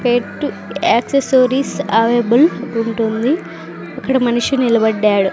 పెట్టు accessories available ఉంటుంది ఇక్కడ మనిషి నిలబడ్డాడు.